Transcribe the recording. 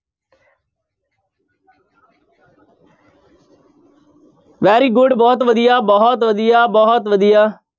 Very good ਬਹੁਤ ਵਧੀਆ ਬਹੁਤ ਵਧੀਆ ਬਹੁਤ ਵਧੀਆ।